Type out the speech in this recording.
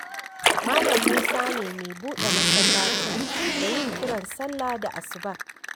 Malam Musa ne mai buɗe masallacin da yin kiran sallah da asuba.